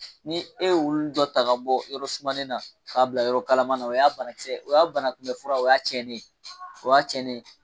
Ni e y'olu dɔ taga bɔ yɔrɔ sumalen na k'a bila yɔrɔ kalamana o y'a banakisɛ banakunbɛ fura o y'a cɛnnen ye o y'a cɛnnen ye.